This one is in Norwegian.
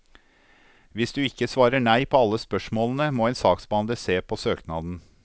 Hvis du ikke svarer nei på alle spørsmålene, må en saksbehandler se på søknaden.